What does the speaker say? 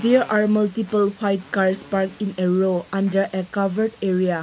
there are multiple white cars parking a row under a covered area.